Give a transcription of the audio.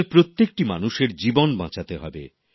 আমাদের প্রত্যেকটি মানুষের জীবন বাঁচাতে হবে